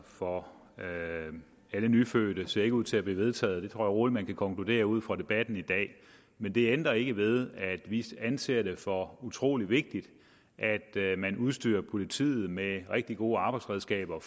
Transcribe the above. for alle nyfødte ser ikke ud til at blive vedtaget rolig man kan konkludere ud fra debatten i dag men det ændrer ikke ved at vi anser det for utrolig vigtigt at man udstyrer politiet med rigtig gode arbejdsredskaber